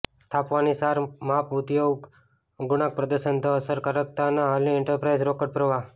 સ્થાપવાની સાર માપ ઉપયોગ આ ગુણાંક પ્રદર્શન ધ અસરકારકતાના હાલની એન્ટરપ્રાઇઝ રોકડ પ્રવાહ